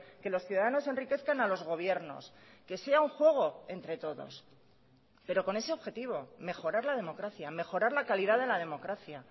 que los ciudadanos enriquezcan a los gobiernos que sea un juego entre todos pero con ese objetivo mejorar la democracia mejorar la calidad de la democracia